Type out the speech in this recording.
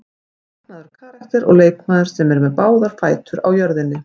Magnaður karakter og leikmaður sem er með báðar fætur á jörðinni.